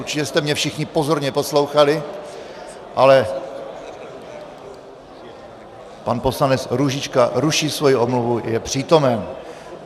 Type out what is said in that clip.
Určitě jste mě všichni pozorně poslouchali, ale pan poslanec Růžička ruší svoji omluvu, je přítomen.